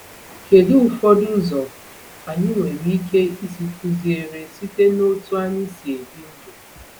Kedu ụfọdụ ụzọ anyị nwere ike isi kụziere site n’otú anyị si ebi ndụ?